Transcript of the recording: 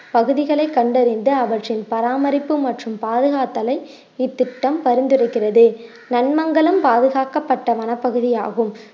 பகுதிகளை கண்டறிந்து அவற்றின் பராமரிப்பு மற்றும் பாதுகாத்தலை இத்திட்டம் பரிந்துரைக்கிறது நன்மங்கலம் பாதுகாக்கப்பட்ட வனப்பகுதியாகும்